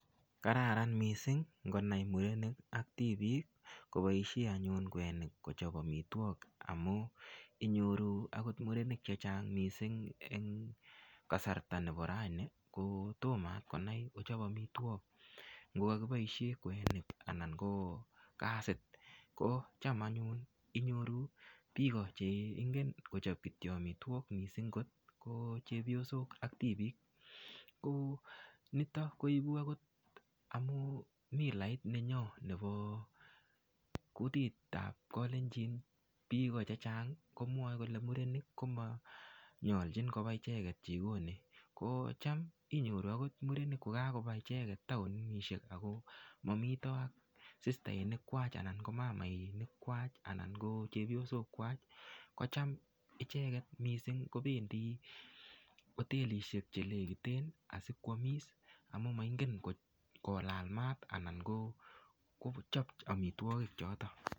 Kararan mising' ngonai murenik ak tibiik koboishe anyun kwenik kochop omitwok amun inyoru akot murenik chechang' mising' eng' kasarta nebo raini kotomo akot konai kochop omitwok ngokakiboishe kwenik anan ko gasit ko cham anyun inyoru biko cheingen kochop kityo omitwok mising' ko chepyosok ak tibiik ko nito koibu akot amun milait nenyo nebo kutitab kalenjin biko chechang' komwoei kole murenik komanyoljin koba icheget jikoni ko cham inyoru akot murenik kokakoba icheget taonishek ako mamito ak sistainik kwach anan mamainik kwach anan ko chepyosok kwach ko cham icheget mising' kobendi hotelishek chelekiten asikwomis amun moingen kolal maat anan kochop omitwokik choto